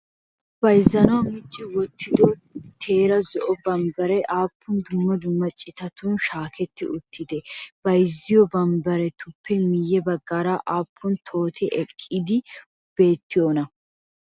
Bayzzanawu micci wottido teera zo'o bambbaree aappun dumma dumma citatun shaaketti uttidee? Bayzziyoo bambariyaappe miyye baggaara aappun tohoti eqqidaageeti beettiyoonaa?